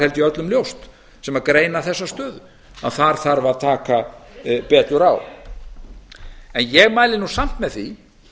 ég öllum ljóst sem greina þessa stöðu að þar þarf að taka betur á en ég mæli samt með því